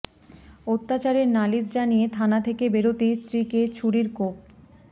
অত্যাচারের নালিশ জানিয়ে থানা থেকে বেরোতেই স্ত্রীকে ছুরির কোপ